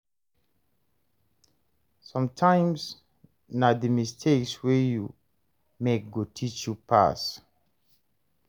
Sometimes na the mistakes wey you make go teach you pass.